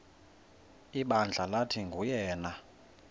ibandla lathi nguyena